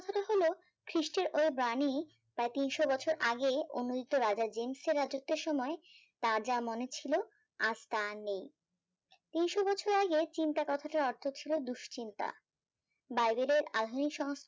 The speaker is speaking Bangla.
খিস্টে ও বাণী প্রায় তিনশো বছর আগে অনূদিত রাজা জেমস এর রাজ্যতের সময় তা যা মনে ছিল আজ তা আর নেই তিনশো বছর আগে চিন্তা কথাটার অর্থ ছিল দুশ্চিন্তা